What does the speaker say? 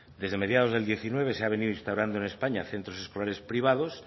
desde mediados del diecinueve se ha venido instaurando en españa centros escolares privados